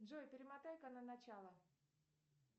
джой перемотай ка на начало